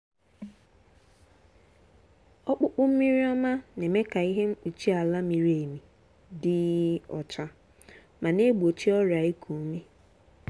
ọkpụkpụ mmiri ọma na-eme ka ihe mkpuchi ala miri emi dị um ọcha ma na-egbochi ọrịa iku ume.